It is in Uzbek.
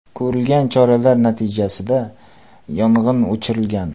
Ko‘rilgan choralar natijasida yong‘in o‘chirilgan.